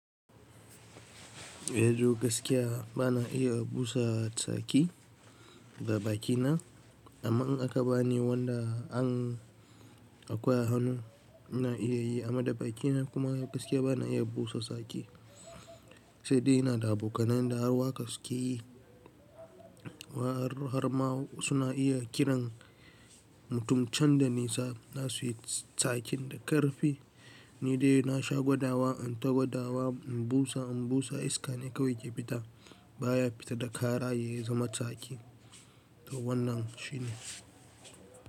Yanzu gaskiya bana iya busa tsaki da bakina, amma in aka bani wanda an akwai hannu ina iya yi, amma da bakina kuma gaskiya bana iya busa tsaki. Sai dai ina da abokanai da har waka su ke yi. Wa har ma suna iya kiran mutum can da nisa dasu yi tsakin da ƙarfi. Ni dai na shagwadawa, in tagwadawa in busa, in busa iska ne kawai ke fita baya fita da kara ya zama tsaki. To wannan shine.